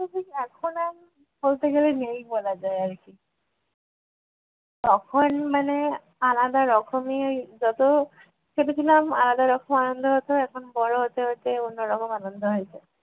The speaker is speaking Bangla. এখন আর বলতে গেলে নেই বলা যায় আর কী। তখন মানে আলাদা রকমের যত ছোট ছিলাম আলাদা রকম আনন্দ হতো এখন বড় হতে হতে অন্য রকম আনন্দ হয়েছে।